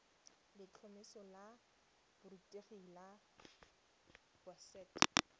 letlhomeso la borutegi la boset